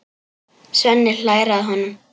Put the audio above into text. Svenni hlær að honum.